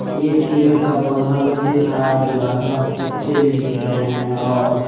एक पेड़ का पौधा भी दिख रहा है जो हरा पत्ते भी दिख रहे हैं और--